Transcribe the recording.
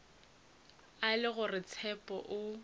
e le gore tshepo o